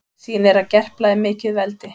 Sýnir að Gerpla er mikið veldi